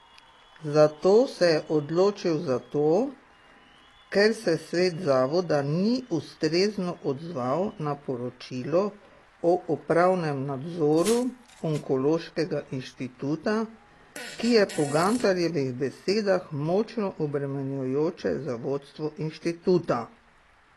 Za to se je odločil zato, ker se svet zavoda ni ustrezno odzval na poročilo o upravnem nadzoru Onkološkega inštituta, ki je po Gantarjevih besedah močno obremenjujoče za vodstvo inštituta.